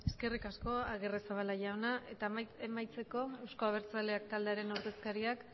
eskerrik asko agirrezabala jauna eta amaitzeko euzko abertzaleak taldearen ordezkariak